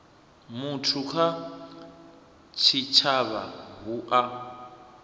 muthu kha tshitshavha hu u